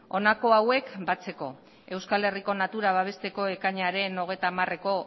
honako hauek batzeko euskal herriko natura babesteko ekainaren hogeita hamareko